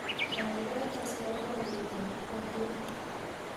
gaigai tes loboiyet ab ko oriit